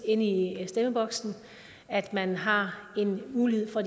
ind i stemmeboksen at man har en mulighed for